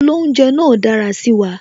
Olounje náà dára sí wa